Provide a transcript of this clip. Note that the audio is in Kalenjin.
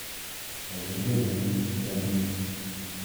Komengechen segemik